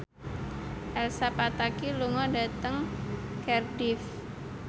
Elsa Pataky lunga dhateng Cardiff